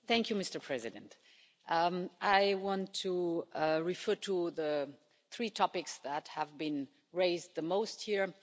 Mr President, I want to refer to the three topics that have been raised the most here.